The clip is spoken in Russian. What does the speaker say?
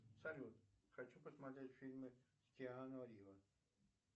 салют хочу посмотреть фильмы с киану риво